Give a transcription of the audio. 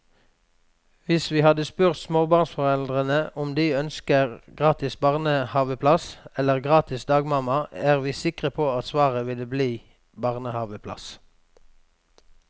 Hvis vi hadde spurt småbarnsforeldre om de ønsker gratis barnehaveplass eller gratis dagmamma, er vi sikre på at svaret ville bli barnehaveplass.